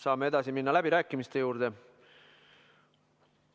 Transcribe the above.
Saame edasi minna läbirääkimiste juurde.